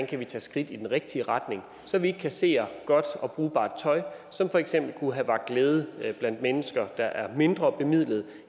kan tage skridt i den rigtige retning så vi ikke kasserer godt og brugbart tøj som for eksempel kunne have vakt glæde blandt mennesker der er mindrebemidlede